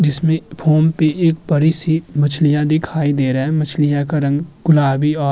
जिसमें फोम पे एक बड़ी-सी मछलियां दिखाई दे रहा है। मछलियां का रंग गुलाबी औ --